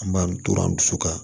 An b'an tora an dusu kan